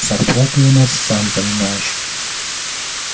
зарплаты у нас сам понимаешь